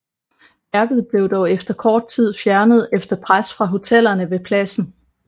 Værket blev dog efter kort tid fjernet efter pres fra hotellerne ved pladsen